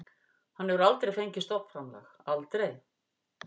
Hann hefur aldrei fengið stofnframlag, aldrei.